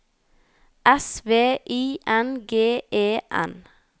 S V I N G E N